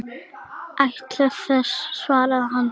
Ætli það, svaraði hann dræmt.